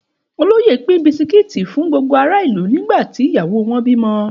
Òloyẹ pin bisiki fún gbogbo àrá ìlú, ni gbati ìyáwò won bìmọ